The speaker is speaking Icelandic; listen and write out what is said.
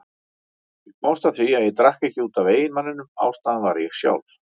Ég komst að því að ég drakk ekki út af eiginmanninum, ástæðan var ég sjálf.